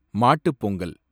Mattu Pongal